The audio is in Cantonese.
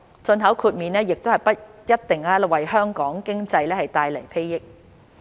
進口豁免亦不一定能為香港經濟帶來裨益。